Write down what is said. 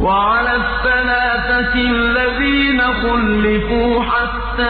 وَعَلَى الثَّلَاثَةِ الَّذِينَ خُلِّفُوا حَتَّىٰ